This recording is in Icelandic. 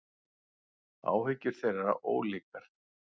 Áhyggjur þeirra ólíkar.